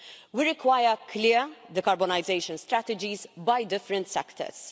We require clear decarbonisation strategies by different sectors.